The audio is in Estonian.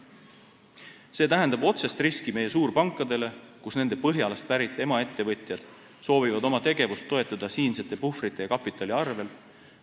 See tähendab otsest riski meie suurpankadele, kui nende Põhjalast pärit emaettevõtjad soovivad oma tegevust toetada siinsete puhvrite ja kapitali arvel.